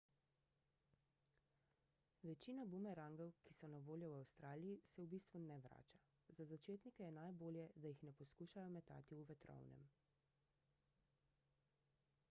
večina bumerangov ki so na voljo v avstraliji se v bistvu ne vrača za začetnike je najbolje da jih ne poskušajo metati v vetrovnem